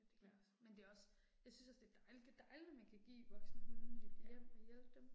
Ja. Ja